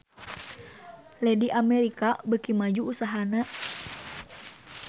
Lady America beuki maju usahana